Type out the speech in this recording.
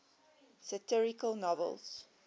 satirical novels